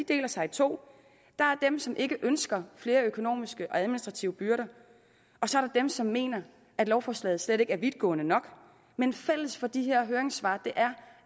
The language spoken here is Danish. deler sig i to der er dem som ikke ønsker flere økonomiske og administrative byrder og så er dem som mener at lovforslaget slet ikke er vidtgående nok men fælles for de her høringssvar er